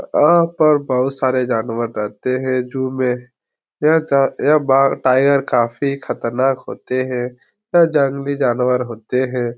आ आह पर बोहुत सारे जानवर रहते हैं जू में। य का यह बाघ टाइगर काफी खतरनाक होते हैं। यह जंगली जानवर होते हैं।